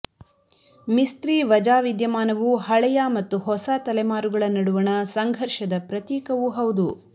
ಮಿಸ್ತ್ರಿ ವಜಾ ವಿದ್ಯಮಾನವು ಹಳೆಯ ಮತ್ತು ಹೊಸ ತಲೆಮಾರುಗಳ ನಡುವಣ ಸಂಘರ್ಘದ ಪ್ರತೀಕವೂ ಹೌದು